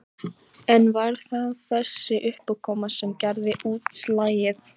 En var það þessi uppákoma sem gerði útslagið?